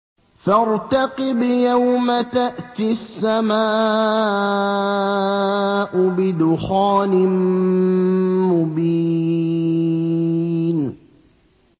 فَارْتَقِبْ يَوْمَ تَأْتِي السَّمَاءُ بِدُخَانٍ مُّبِينٍ